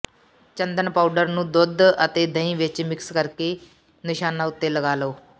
ਚੰਦਨ powder ਨੂੰ ਦੁੱਧ ਅਤੇ ਦਹੀਂ ਵਿੱਚ ਮਿਕਸ ਕਰ ਕੇ ਨਿਸ਼ਾਨਾਂ ਉੱਤੇ ਲਗਾ ਲਓ